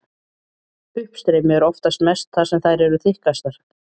Uppstreymi er oftast mest þar sem þær eru þykkastar.